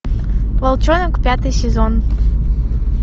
волчонок пятый сезон